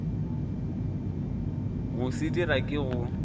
go se dira ke go